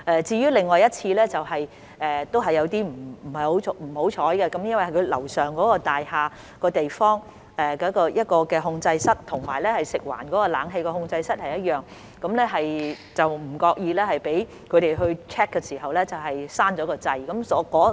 至於另一次則有點不幸，由於樓上那座大廈的控制室與食環署的冷氣控制室是一樣的，有關大廈的人員在那裏 check 的時候不為意關掉了街市的冷氣。